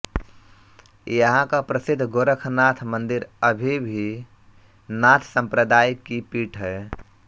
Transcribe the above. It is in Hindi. यहाँ का प्रसिद्ध गोरखनाथ मन्दिर अभी भी नाथ सम्प्रदाय की पीठ है